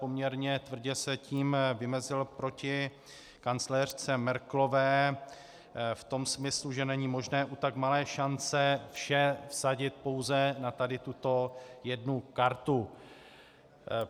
Poměrně tvrdě se tím vymezil proti kancléřce Merkelové v tom smyslu, že není možné u tak malé šance vše vsadit pouze na tady tuto jednu kartu.